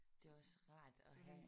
Det er også rart at have